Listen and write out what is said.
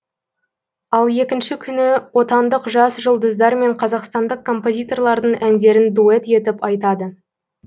ал екінші күні отандық жас жұлдыздар мен қазақстандық композиторлардың әндерін дуэт етіп айтады